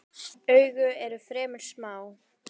Augu eru fremur smá.